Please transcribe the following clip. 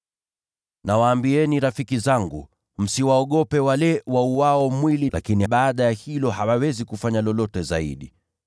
“Nawaambieni rafiki zangu, msiwaogope wale wauao mwili, lakini baada ya hilo hawawezi kufanya lolote zaidi.